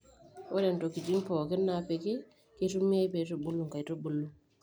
ore intokitin pookin naapiki keitumiae pee eitubulu inkaitubuulu